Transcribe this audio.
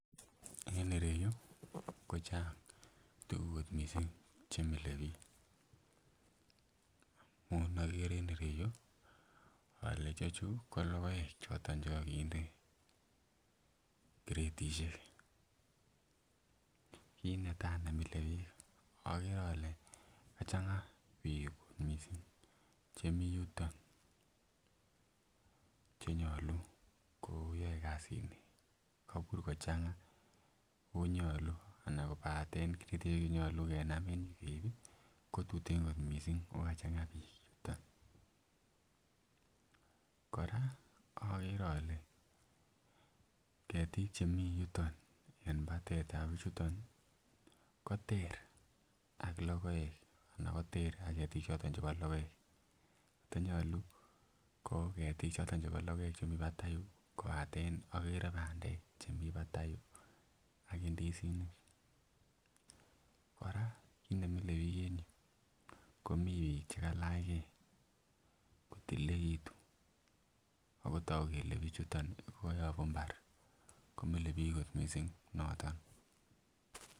En ireyuu ko Chang tukuk kot missing chemile bik, amun okere en ireyuu ole chechuu ko lokoek choton chekokinde kiretishek kit netai nemile bik okere ole kachanga bik missing chemii yuton chenyolu koyoe kasit nii kobur kochanga onyolu anan kopaten kiretishek chenyolu kenam en yuu keibi ko tuten kot missing okachanga bik yuton. Koraa okere ole ketik chemii yuton en patetab bichuton kotere ak lokoek anan ter ak Ketik choton chebo lokoek kotonyolu ko ketik choton chebo lokoek chemii patai yuu kopaten oker pandek chemii patai yuu ak indisinik. Koraa kit nemile bik en yuu ko mii bik chekalach gee kotililekitun akotoku kele bichuton nii ko koyobu imbar komile bik kot missing noton.